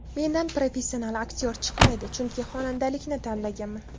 Mendan professional aktyor chiqmaydi, chunki xonandalikni tanlaganman.